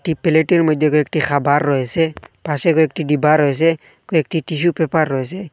একটি প্লেটের মধ্যে কয়েকটি খাবার রয়েছে পাশে কয়েকটি ডিবা রয়েছে কয়েকটি টিসু পেপার রয়েছে।